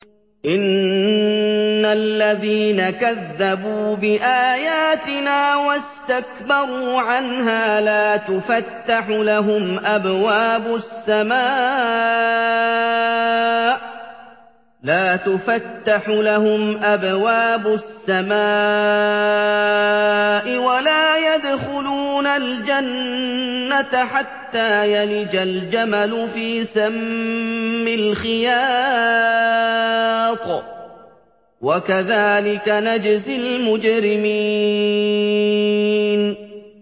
إِنَّ الَّذِينَ كَذَّبُوا بِآيَاتِنَا وَاسْتَكْبَرُوا عَنْهَا لَا تُفَتَّحُ لَهُمْ أَبْوَابُ السَّمَاءِ وَلَا يَدْخُلُونَ الْجَنَّةَ حَتَّىٰ يَلِجَ الْجَمَلُ فِي سَمِّ الْخِيَاطِ ۚ وَكَذَٰلِكَ نَجْزِي الْمُجْرِمِينَ